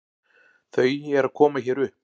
Þau eru að koma hér upp.